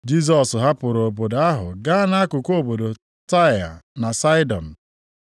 Jisọs hapụrụ obodo ahụ gaa nʼakụkụ obodo Taịa na Saịdọn.